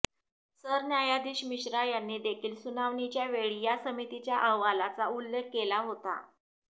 सरन्यायाधीश मिश्रा यांनी देखील सुनावणीच्यावेळी या समितीच्या अहवालाचा उल्लेख केला होता